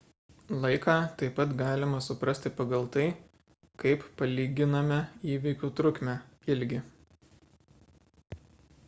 laiką taip pat galima suprasti pagal tai kaip palyginame įvykių trukmę ilgį